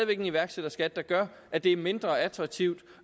en iværksætterskat der gør at det er mindre attraktivt